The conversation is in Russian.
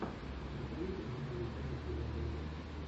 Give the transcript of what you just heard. посоветуй мне новую киношку жанра ужастик